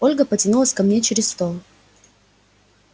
ольга потянулась ко мне через стол